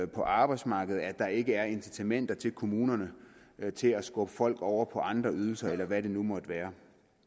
på arbejdsmarkedet at der ikke er incitamenter til kommunerne til at skubbe folk over på andre ydelser eller hvad det nu måtte være